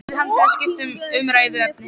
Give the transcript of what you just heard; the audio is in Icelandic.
spurði hann til að skipta um umræðuefni.